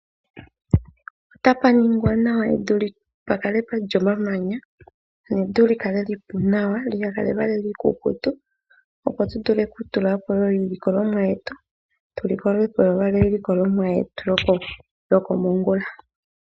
Otuna uushina uuwanawa, mboka hatu longitha opo tu ninge evi lyetu, moka hatu kunu iihape yetu epu nawa.